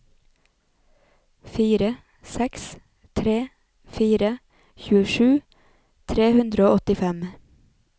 fire seks tre fire tjuesju tre hundre og åttifem